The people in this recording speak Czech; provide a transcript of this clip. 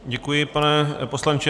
Děkuji, pane poslanče.